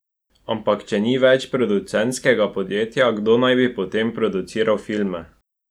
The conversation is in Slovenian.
Ampak če ni več producentskega podjetja, kdo naj bi potem produciral filme?